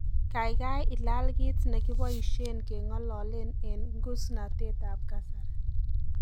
Gaigai ilaal kiit negipoishen kengololen eng ngusnatetab kasari